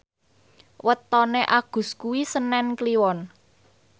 wetone Agus kuwi senen Kliwon